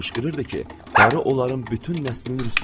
Qışqırırdı ki, qarı onların bütün nəslini rüsva eləyir.